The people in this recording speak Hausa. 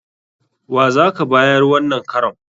Wa za ka bayar wannan karon?